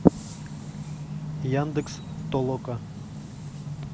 яндекс толока